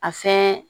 A fɛn